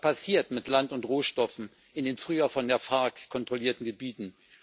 Was passiert mit Land und Rohstoffen in den früher von der FARC kontrollierten Gebieten?